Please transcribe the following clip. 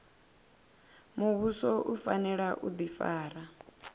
muvhuso u fanela u difara